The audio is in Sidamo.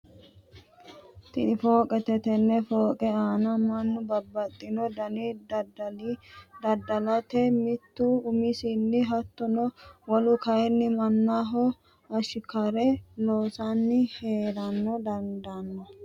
Tini fooqete tene fooqe aana manu babaxino dani dadalinni dada'late mitu umisinni hattono wolu kayini manaho ashikare loosanni heera dandano